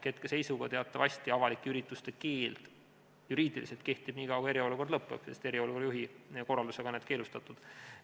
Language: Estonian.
Hetkeseisuga teatavasti avalike ürituste keeld juriidiliselt kehtib nii kaua, kui eriolukord lõppeb, sest eriolukorra juhi korraldusega on need keelustatud.